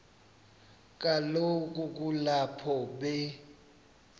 kaloku kulapho be